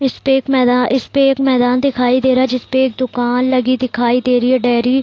इसपे एक मैदान इसपे एक मैदान दिखाई दे रहा है जिसपे एक दूकान लगी दिखाई दे रही है डेरी --